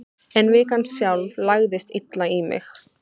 En vikan sjálf lagðist illa í mig.